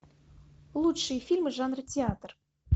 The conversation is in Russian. лучшие фильмы жанра театр